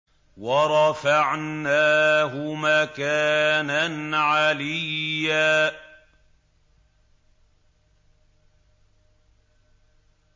وَرَفَعْنَاهُ مَكَانًا عَلِيًّا